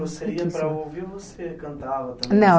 Você ia para ouvir ou você cantava também? Não